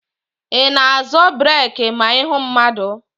Ị na-azọ breeki ma ị hụ mmadụ?